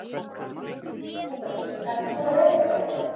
Ingveldur: Ertu búinn að veiða einhvern fisk?